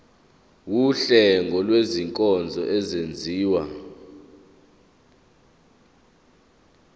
wuhlengo lwezinkonzo ezenziwa